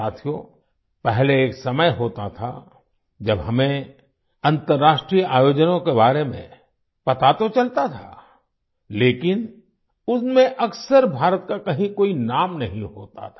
साथियो पहले एक समय होता था जब हमें अन्तर्राष्ट्रीय आयोजनों के बारे में पता तो चलता था लेकिन उनमें अक्सर भारत का कहीं कोई नाम नहीं होता था